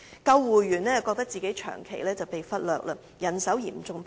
救護員則感到長期被忽略，人手嚴重不足。